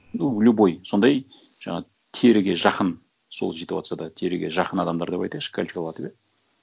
ну любой сондай жаңа теріге жақын сол ситуацияда теріге жақын адамдар деп айтайықшы иә